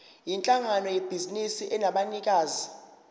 yinhlangano yebhizinisi enabanikazi